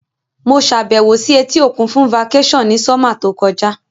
Mo sàbẹ̀wò si etí òkun fun vacation ni summer to kojá